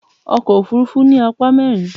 Ọkọ̀ òfuurufú ní apá mẹ́rin.